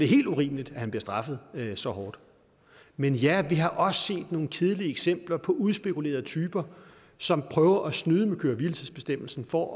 helt urimeligt at han bliver straffet så hårdt men ja vi har også set nogle kedelige eksempler på udspekulerede typer som prøver at snyde med køre hvile tids bestemmelsen for